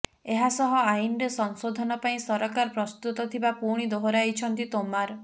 ଏହାସହ ଆଇନରେ ସଂଶୋଧନ ପାଇଁ ସରକାର ପ୍ରସ୍ତୁତ ଥିବା ପୁଣି ଦୋହରାଇଛନ୍ତି ତୋମାର